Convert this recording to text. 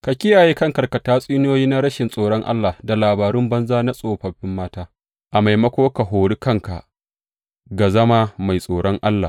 Ka kiyaye kanka daga tatsuniyoyi na rashin tsoron Allah da labaru banza na tsofaffin mata; a maimako, ka hori kanka ga zama mai tsoron Allah.